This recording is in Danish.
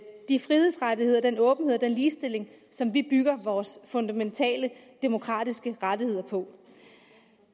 de frihedsrettigheder og den åbenhed og den ligestilling som vi bygger vores fundamentale demokratiske rettigheder på